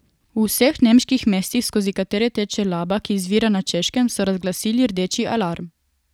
V vseh nemških mestih, skozi katera teče Laba, ki izvira na Češkem, so razglasili rdeči alarm.